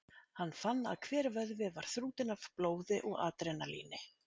Hann fann að hver vöðvi var þrútinn af blóði og adrenalíni.